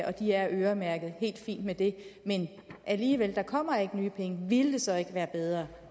og de er øremærket helt fint med det men alligevel der kommer ikke nye penge ville det så ikke være bedre